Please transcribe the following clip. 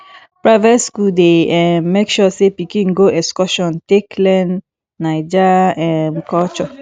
private skool dey um make sure sey pikin go go excursion take learn naija um culture